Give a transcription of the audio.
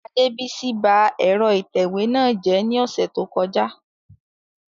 Adebisi ba ẹ̀rọ ìtẹ̀wé náà jẹ́ ní ọ̀sẹ̀ tó kọjá